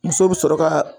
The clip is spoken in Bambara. Muso bɛ sɔrɔ ka